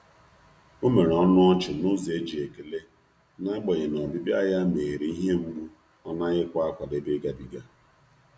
O mere ọnụ ọchị n’ụzọ e ji ekele, n'agbanyeghi na ọbịbịa ya meghere ihe mgbu ọ naghịkwa akwadebe ịgabiga.